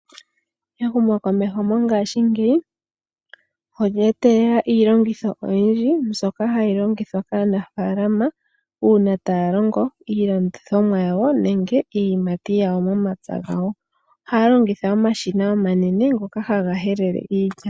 Ehumokomeho mongashiingeyi olya etelela iilongitho oyindji mbyoka hayi longithwa kaanafaalama uuna taya longo iilandithomwa yawo nenge iiyimati yawo momapya gawo, ohaya longitha omashina omanene ngoka ha ga helele iilya.